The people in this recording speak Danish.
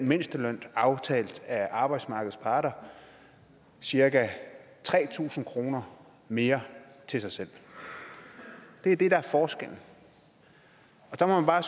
mindstelønnen aftalt af arbejdsmarkedets parter cirka tre tusind kroner mere til sig selv det er det der er forskellen der må man bare